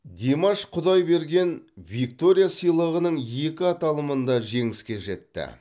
димаш құдайберген виктория сыйлығының екі аталымында жеңіске жетті